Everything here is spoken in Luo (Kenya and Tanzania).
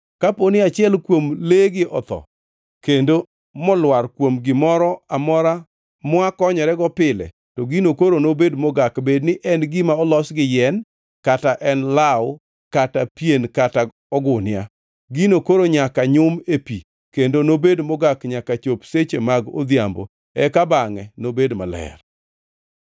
Kaponi achiel kuom legi otho kendo molwar kuom gimoro amora mwakonyorego pile, to gino koro nobed mogak, bedni en gima olos gi yien, kata en law, kata pien kata ogunia. Gino koro nyaka nyum ei pi kendo nobed mogak nyaka chop seche mag odhiambo, eka bangʼe nobed maler.